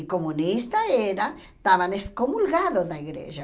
E comunista era, estavam excomulgados da igreja.